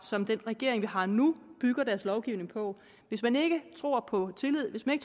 som den regering vi har nu bygger deres lovgivning på hvis man ikke tror på tillid hvis man